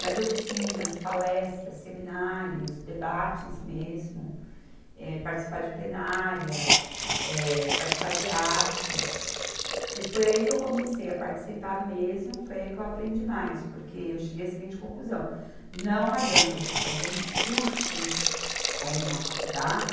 Mas oficinas, palestras, seminários, debates mesmo, eh, participar de plenárias, eh, participar de atos, que foi aí que eu comecei a participar mesmo, foi aí que eu aprendi mais, porque eu cheguei à seguinte conclusão, não adianta você fazer um curso aí numa faculdade,